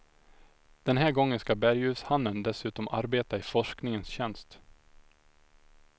Den här gången ska berguvshannen dessutom arbeta i forskningens tjänst.